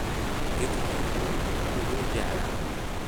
Gaadhigee uu ugu jeclaa?